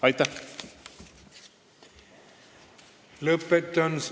Aitäh!